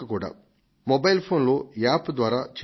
mobile ఫోన్లో app ద్వారా చేయవచ్చు